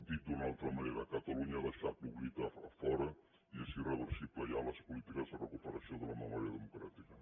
dit d’una altra manera catalunya ha deixat l’oblit a fora i són irreversibles ja les polítiques de recuperació de la memòria democràtica